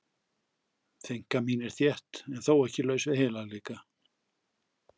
Þynnka mín er þétt en þó ekki laus við heilagleika.